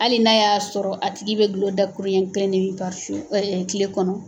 Hali n'a y'a sɔrɔ a tigi bɛ gulɔ dakuru ɲɛ kelen ne min kile kɔnɔ.